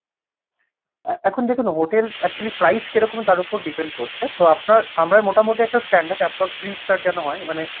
এখন দেখুন hotel actually price কেরকম তার উপর depend করছে তো আপনার আমরা মোটামুটি একটা standard approx three star যেন হয় মানে